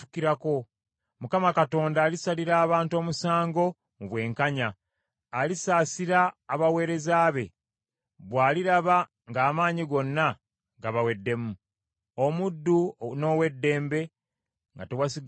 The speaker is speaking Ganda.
Mukama Katonda alisalira abantu omusango mu bwenkanya, alisaasira abaweereza be, bw’aliraba ng’amaanyi gonna gabaweddemu, omuddu n’ow’eddembe nga tewasigadde n’omu.